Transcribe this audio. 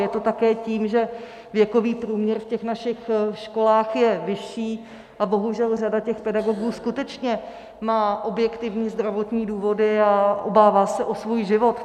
Je to také tím, že věkový průměr v těch našich školách je vyšší a bohužel řada těch pedagogů skutečně má objektivní zdravotní důvody a obává se o svůj život.